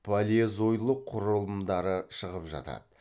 палеозойлық құрылымдары шығып жатады